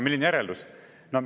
Milline järeldus?